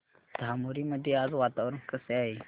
धामोरी मध्ये आज वातावरण कसे आहे